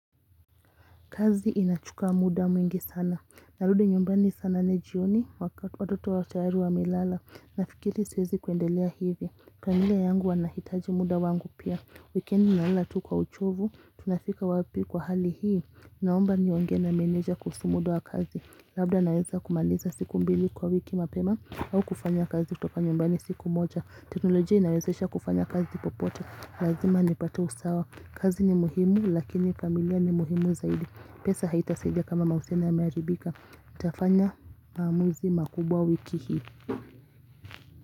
Kazi inachuka muda mwingi sana, narudi nyumbani sana nane jioni, watoto tayari wamelala, nafikiri siwezi kuendelea hivi, pengine yangu wanahitaji muda wangu pia, wikendi nalala tu kwa uchovu, tunafika wapi kwa hali hii, naomba niongee na meneja kuhusu mda wa kazi, labda naweza kumaliza siku mbili kwa wiki mapema, au kufanya kazi kutoka nyumbani siku moja, teknolojia inawezesha kufanya kazi popote, lazima nipate usawa, kazi ni muhimu, lakini familia ni muhimu zaidi. Pesa haitasaidia kama maisha yamearibika nitafanya maamuzi makubwa wiki hii.